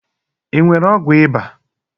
ị nwere ọgwụ ịba?